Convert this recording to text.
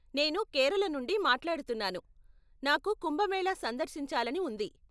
నేను కేరళ నుండి మాట్లాడుతున్నాను, నాకు కుంభమేళా సందర్శించాలని ఉంది.